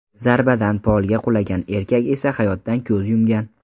Zarbadan polga qulagan erkak esa hayotdan ko‘z yumgan .